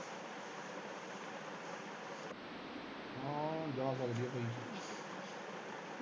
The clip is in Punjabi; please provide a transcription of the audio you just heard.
ਹਾਂ ਜਾ ਸਕਦੀ ਆ ਭਾਈ